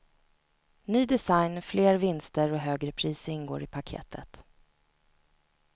Ny design, fler vinster och högre pris ingår i paketet.